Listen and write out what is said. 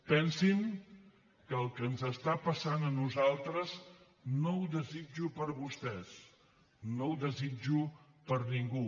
pensin que el que ens està passant a nosaltres no ho desitjo per a vostès no ho desitjo per a ningú